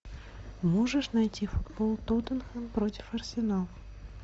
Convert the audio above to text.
можешь найти футбол тоттенхэм против арсенал